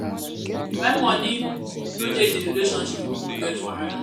when money no de di relationship di pipo get wahala